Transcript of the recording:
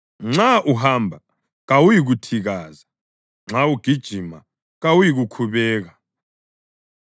Nxa uhamba kawuyikuthikaza; nxa ugijima kawuyikukhubeka.